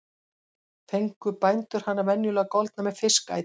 Fengu bændur hana venjulega goldna með fiskæti.